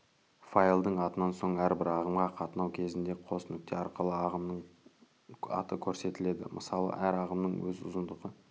файлдың атынан соң әрбір ағымға қатынау кезінде қос нүкте арқылы ағымның аты көрсетіледі мысалы әр ағымның өз ұзындығы